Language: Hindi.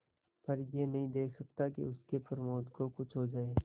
पर यह नहीं देख सकता कि उसके प्रमोद को कुछ हो जाए